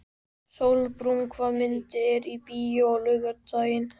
Sólbrún, hvaða myndir eru í bíó á laugardaginn?